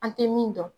An tɛ min dɔn